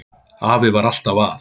Afi var alltaf að.